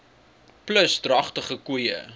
plus dragtige koeie